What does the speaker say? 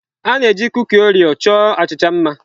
A na-eji kuki Oreo chọọ achịcha mma.